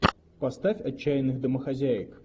поставь отчаянных домохозяек